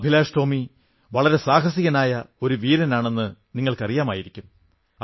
അഭിലാഷ് ടോമി വളരെ സാഹസികനായ ഒരു വീരനാണെന്ന് നിങ്ങൾക്കറിയാമായിരിക്കും